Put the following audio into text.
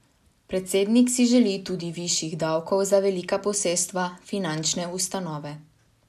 Predsednik si želi tudi višjih davkov za velika posestva, finančne ustanove.